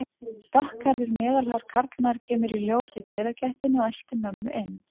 Dökkhærður, meðalhár karlmaður kemur í ljós í dyragættinni og eltir mömmu inn.